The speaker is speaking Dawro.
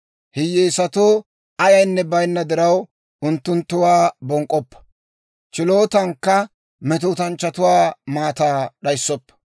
Hiyyeesatoo ayaynne bayinna diraw, unttunttuwaa bonk'k'oppa; chilootankka metootanchchatuwaa maataa d'ayissoppa.